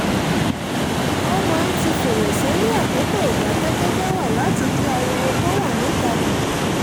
a máa ń ti fèrèsé ní àkókò ìdákẹ́ jẹ́jẹ́ wa láti dín ariwo tó wà níta kù